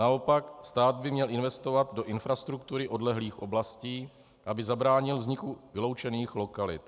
Naopak, stát by měl investovat do infrastruktury odlehlých oblastí, aby zabránil vzniku vyloučených lokalit.